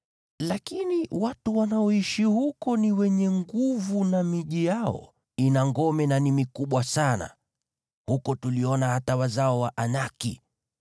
Lakini watu wanaoishi huko ni wenye nguvu, na miji yao ina ngome na ni mikubwa sana. Huko tuliona hata wazao wa Anaki.